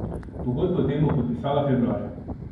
Pogodbo o tem bo podpisala februarja.